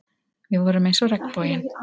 Við vorum eins og regnboginn.